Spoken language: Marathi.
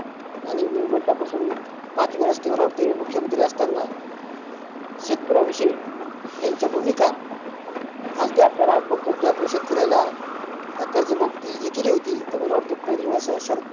आणि मी म्हटल्या पासून पाच वेळेस ते मला वाटते मुख्यमंत्री असताना शेतकर्याविषयी त्यांच्या भुमिका आज बी आपल्याला बघतोत की आपण शेतकर्याला कर्ज मुक्ती जी केली होती तर मला वाटतं पहिली वेळेस शरद